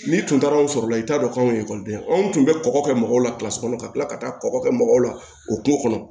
N'i tun taara anw sɔrɔla i t'a dɔn k'an ye ekɔliden anw tun bɛ kɔkɔ kɛ mɔgɔw la kɔnɔ ka kila ka taa kɔkɔ kɛ mɔgɔw la o kungo kɔnɔ